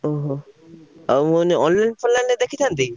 ଓହୋ! ଆଉ କୁହନି online ଫନଲାଇନ ରେ ଦେଖିଥାନ୍ତେ କି?